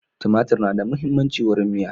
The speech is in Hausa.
Tumatir na da muhimmancin wurin miya